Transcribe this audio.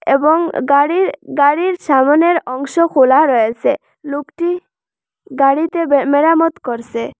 এবং গাড়ির গাড়ির সামোনের অংশ খোলা রয়েসে লোকটি গাড়িতে বে মেরামত করসে।